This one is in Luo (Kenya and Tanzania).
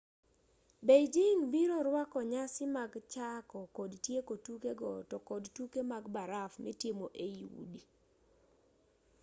beijing biro rwako nyasi mag chako kod tieko tuke go to kod tuke mag baraf mitimo ei udi